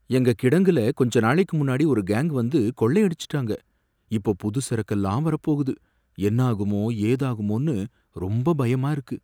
எங்க கிடங்குல கொஞ்ச நாளைக்கு முன்னாடி ஒரு கேங் வந்து கொள்ளையடிச்சுட்டாங்க, இப்போ புது சரக்கெல்லாம் வரப்போகுது, என்னாகுமோ ஏதாகுமோன்னு ரொம்ப பயமா இருக்கு.